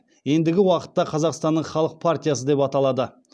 ендігі уақытта қазақстанның халық партиясы деп аталады